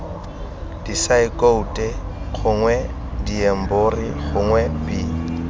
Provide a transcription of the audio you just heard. disaekoute gongwe diemborio gongwe b